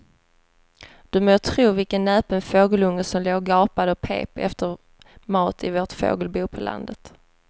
Du må tro vilken näpen fågelunge som låg och gapade och pep efter mat i vårt fågelbo på landet.